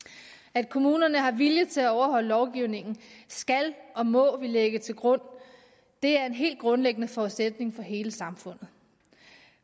at kommunerne har vilje til at overholde lovgivningen skal og må vi lægge til grund det er en helt grundlæggende forudsætning for hele samfundet